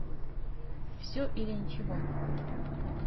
все или ничего